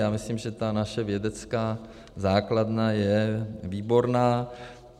Já myslím, že ta naše vědecká základna je výborná.